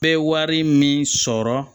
Bɛɛ ye wari min sɔrɔ